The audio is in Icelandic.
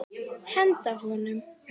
Henda honum?